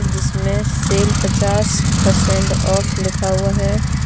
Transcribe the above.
जिसमे सेल पचास percent off लिखा हुआ हे.